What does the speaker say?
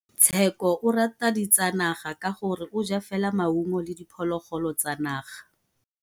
Tshekô o rata ditsanaga ka gore o ja fela maungo le diphologolo tsa naga.